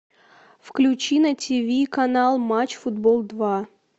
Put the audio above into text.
включи на тиви канал матч футбол два